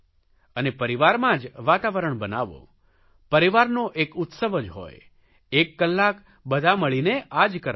અને પરિવારમાં જ વાતાવરણ બનાવો પરિવારનો એક ઉત્સવ જ હોય એક કલાક બધા મળીને આ જ કરવાનું છે